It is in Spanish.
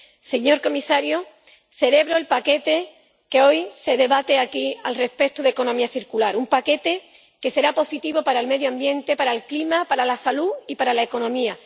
Señor comisario, celebro el paquete que hoy se debate aquí sobre la economía circular. Un paquete que será positivo para el medio ambiente, para el clima, para la salud y para la economía.